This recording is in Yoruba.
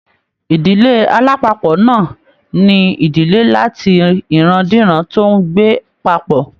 Ìdílé alapapo náà ní ìdílé làti iran-diran tó n gbé papọ.